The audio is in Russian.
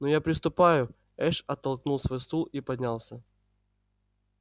ну я приступаю эш оттолкнул свой стул и поднялся